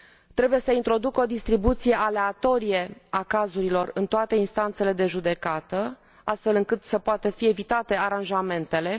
trebuie să introducă o distribuție aleatorie a cazurilor în toate instanțele de judecată, astfel încât să poată fi evitate aranjamentele